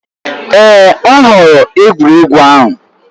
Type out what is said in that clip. Èè! M họọrọ egwuregwu ahụ.